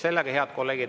Head kolleegid!